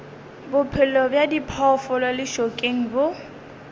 bophelo bja diphoofolo lešokeng bo